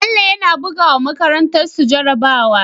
Bello yAna buga wa makarantar su jara bawa